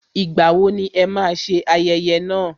Ìgbà wo ni ẹ máa ṣe ayẹyẹ náà